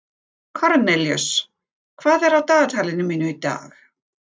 Kornelíus, hvað er á dagatalinu mínu í dag?